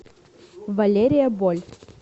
валерия боль